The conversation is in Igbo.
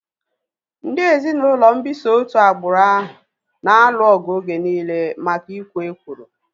Ndị ezinaụlọ mbisa otu agbụrụ ahu na-alụ ọgụ oge nille maka ikwo ekworo